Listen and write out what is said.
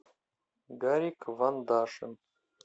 гарик вандашин